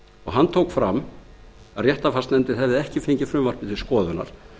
hann tók fram að réttarfarsnefnd hefði ekki fengið frumvarpið til skoðunar